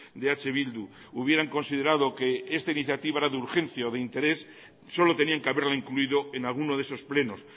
de eh bildu hubieran considerado que esta iniciativa era de urgencia o de interés solo tenían que haberla incluido en alguno de esos plenos